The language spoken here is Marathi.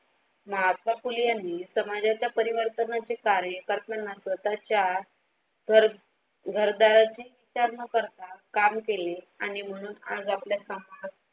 महात्मा फुले यांनी समाजात परिवर्तनाचे कार्य करताना स्वतःच्या घर दाराच्या विचार न करता काम केले आणि म्हणून आज आपल्या समाज